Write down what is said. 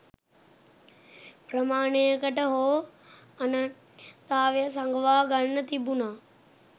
ප්‍රමාණයකට හෝ අනන්‍යතාවය සඟවා ගන්න තිබුණා.